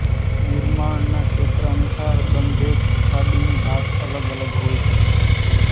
નિર્માણના ક્ષેત્ર અનુસાર બંધેજ સાડીની ભાત અલગ અલગ હોઈ શકે છે